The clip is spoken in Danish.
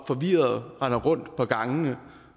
forvirret og render rundt på gangene